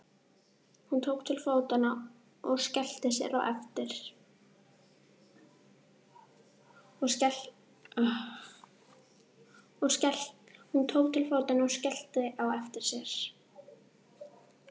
Hún tók til fótanna og skellti á eftir sér.